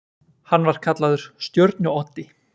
Hann var kallaður Stjörnu-Oddi.